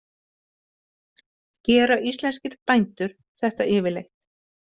Gera íslenskir bændur þetta yfirleitt?